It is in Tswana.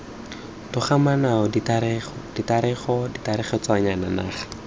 togamaano tiragatso tiragatso tiragatsoya naga